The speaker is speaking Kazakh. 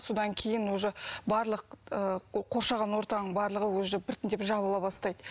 содан кейін уже барлық ы қоршаған ортаның барлығы уже біртіндеп жабыла бастайды